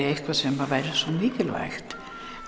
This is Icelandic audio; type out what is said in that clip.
eitthvað sem væri svo mikilvægt